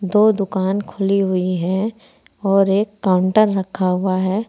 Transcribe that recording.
दो दुकान खुली हुई हैं और एक काउंटर रखा हुआ है।